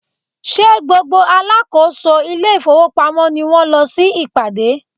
Ṣé gbogbo alákòóso ile-ifowopamo ni wón lọ sí ìpàdé?